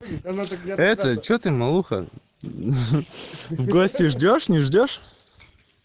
это че ты малуха в гости ждёшь не ждёшь